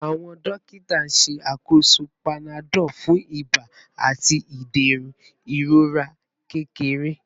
Awọn dokita n ṣakoso panadol fun iba ati iderun irora kekere